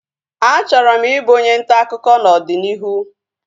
A chọrọ m ị bụ onye ntaakụkọ n'ọdịnihu